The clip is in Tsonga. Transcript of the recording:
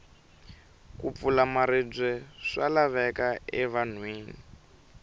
ku pfula maribye swa laveka e vanhwini